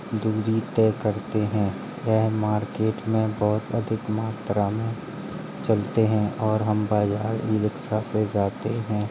दूरी तय करते हैं वह मार्केट में बहुत अधिक मात्रा में चलते हैं और हम बाजार ई रिक्शा से जाते हैं।